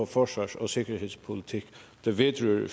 forsvars og sikkerhedspolitik der vedrører